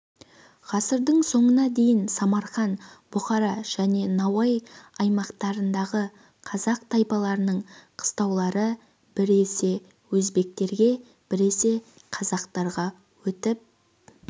ғасырдың соңына дейін самарқан бұхара және науаи аймақтарындағы қазақ тайпаларының қыстаулары біресе өзбектерге біресе қазақтарға өтіп